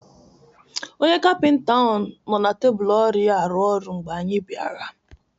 Onye Kapịnta ahụ nọ na tebụl ọrụ ya arụ ọrụ mgbe anyị bịara.